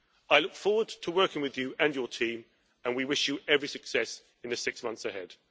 I look forward to working with you and your team and we wish you every success in the six months ahead.